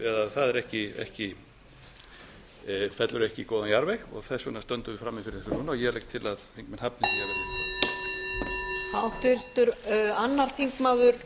það fellur ekki í góðan jarðveg og þess vegna stöndum við frammi fyrir þessu núna ég legg til að þingmenn hafni því að